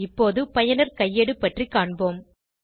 இப்போது பயனர் கையேடு பற்றி காண்போம்